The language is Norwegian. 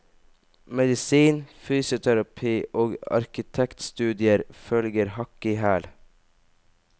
Medisin, fysioterapi og arkitektstudier følger hakk i hæl.